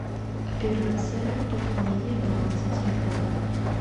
операция пополнения баланса телефона